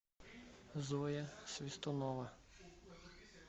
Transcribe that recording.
зоя свистунова